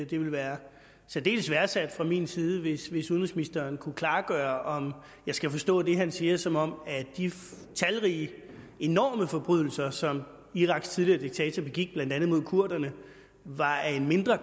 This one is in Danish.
vil være særdeles værdsat fra min side hvis hvis udenrigsministeren kan klargøre om jeg skal forstå det han siger som om de talrige og enorme forbrydelser som iraks tidligere diktator begik blandt andet mod kurderne var af en mindre